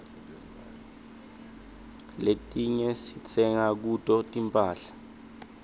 letiinye sitsenga kuto tinphahla